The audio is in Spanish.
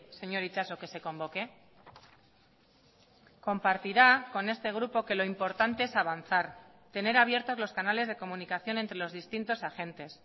señor itxaso que se convoque compartirá con este grupo que lo importante es avanzar tener abiertos los canales de comunicación entre los distintos agentes